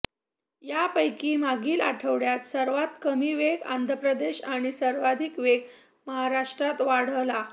यापैकी मागील आठवड्यात सर्वात कमी वेग आंध्रप्रदेश आणि सर्वाधिक वेग महाराष्ट्रात वाढला